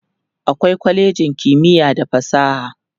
akwai kwalejin kimiya da fasaha